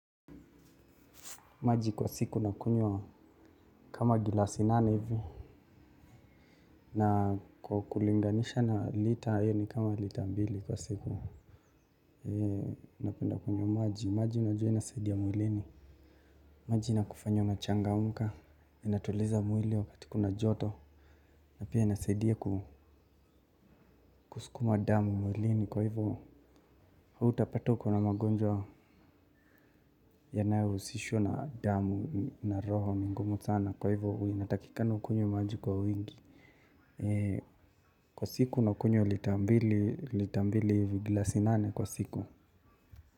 Maji kwa siku nakunywa kama gilasi nane hivyo. Na kwa kulinganisha na lita hiyo ni kama lita mbili kwa siku. Napenda kunywa maji. Maji unajua inasaidia mwilini. Maji inakufanya unachangamka. Inatuliza mwili wakati kuna joto. Na pia inasaidia kusukuma damu mwilini. Kwa hivyo, hautapata uko na magonjwa yanayohusishwa na damu na roho ni ngumu sana. Kwa hivyo, hua inatakikana ukunywe maji kwa wingi. Kwa siku unakunywa lita mbili lita mbili hivi gilasi nane kwa siku.